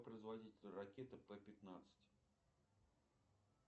производитель ракеты пэ пятнадцать